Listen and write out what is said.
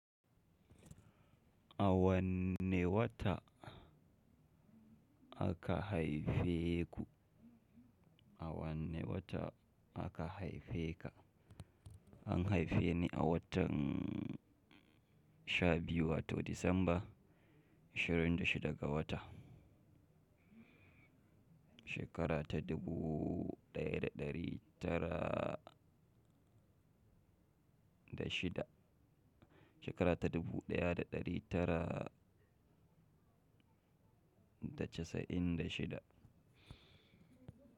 A wanne wata aka haife ku. Aka haife ku? An haife ni a watan sha biyu, wato Disamba, 26 ga wata, shekara ta 1996. Shekara ta dubu ɗaya da ɗari tara da casa'in da shida.